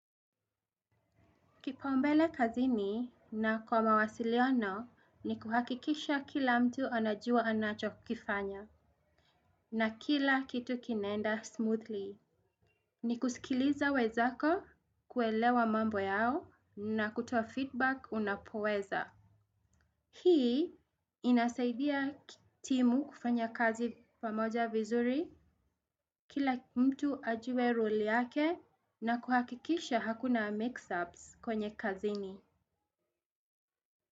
Kipaombele kazini na kwa mawasiliano ni kuhakikisha kila mtu anajua anacho kifanya na kila kitu kinaenda smoothly. Ni kusikiliza wenzako kuelewa mambo yao na kutoa feedback unapoweza. Hii inasaidia timu kufanya kazi pamoja vizuri kila mtu ajue role yake na kuhakikisha hakuna mixups kwenye kazini.